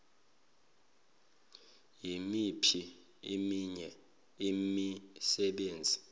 yimiphi eminye imisebenzi